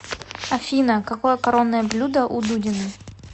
афина какое коронное блюдо у дудиной